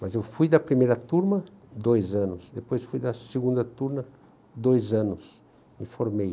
Mas eu fui da primeira turma dois anos, depois fui da segunda turma dois anos e formei.